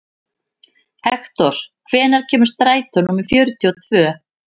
Hektor, hvenær kemur strætó númer fjörutíu og tvö?